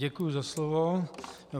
Děkuji za slovo.